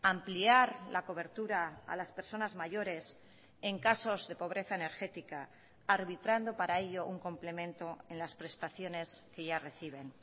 ampliar la cobertura a las personas mayores en casos de pobreza energética arbitrando para ello un complemento en las prestaciones que ya reciben